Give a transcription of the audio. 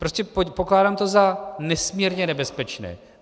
Prostě pokládám to za nesmírně nebezpečné.